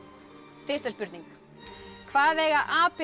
fyrsta spurning hvað eiga apinn